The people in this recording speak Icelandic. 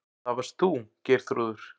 Það varst þú, Geirþrúður.